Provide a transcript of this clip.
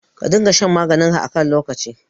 Ka dinga shan maganinka a kan lokaci.